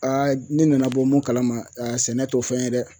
ne nana bɔ mun kalama sɛnɛ t'o fɛn ye dɛ !